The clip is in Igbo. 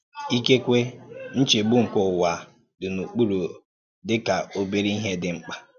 Íkèkwè ǹchégbu nke ùwà dị n’okpùrụ̀ dì ka obere ìhè dị mkpa.